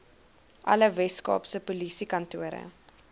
alle weskaapse polisiekantore